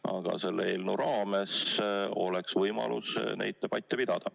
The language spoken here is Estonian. Ent eelnõu menetluse raames oleks võimalik neid debatte pidada.